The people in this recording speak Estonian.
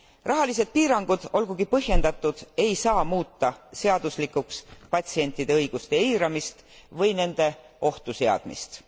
Rahalised piirangud, olgugi põhjendatud, ei saa muuta seaduslikuks patsientide õiguste eiramist või nende ohtu seadmist.